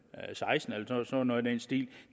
to noget i den stil